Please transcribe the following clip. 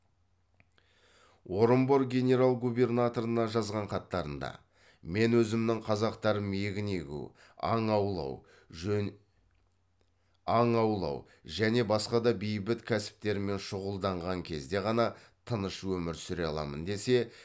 орынбор генерал губернаторына жазған хаттарында мен өзімнің қазақтарым егін егу аң аулау және басқа да бейбіт кәсіптермен шұғылданған кезде ғана тыныш өмір сүре аламын десе